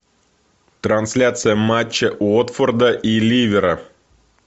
трансляция матча уотфорда и ливера